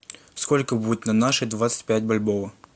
сколько будет на наши двадцать пять бальбоа